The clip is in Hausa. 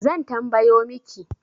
Zan tambayo miki